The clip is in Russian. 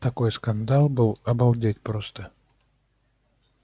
такой скандал был обалдеть просто